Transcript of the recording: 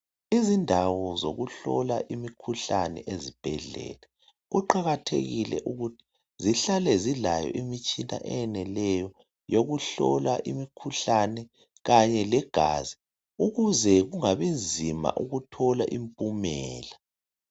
Izindawo zokuhlala imikhuhlane ezibhedlela kuqakathekile ukuthi zihlale zilayo imitshina eyeneleyo yokuhlola imikhuhlane kanye legazi ukuze kungabi nzima ukuthola impumela